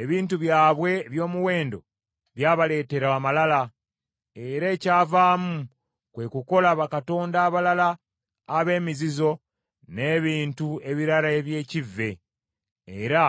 Ebintu byabwe eby’omuwendo byabaleetera amalala, era ekyavaamu kwe kukola bakatonda abalala ab’emizizo n’ebintu ebirala eby’ekivve, era